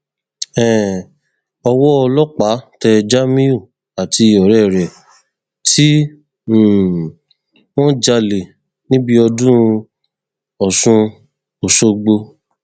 um owó ọlọpàá tẹ jamiu àti ọrẹ rẹ tí um wọn jalè níbi ọdún ọsùn ọṣọgbó